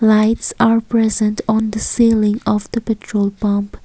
lights are present on the ceiling of the petrol pump.